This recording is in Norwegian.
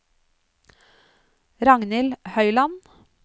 Ragnhild Høyland